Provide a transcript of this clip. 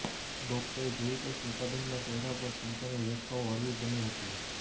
ડોક્ટરે જોયું કે સ્મિતાબહેનના ચહેરા પર ચિંતાની રેખાઓ હળવી બની હતી